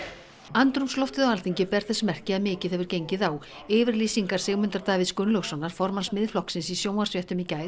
andrúmsloftið á Alþingi ber þess merki að mikið hefur gengið á yfirlýsingar Sigmundar Davíðs Gunnlaugssonar formanns Miðflokksins í sjónvarpsfréttum í gær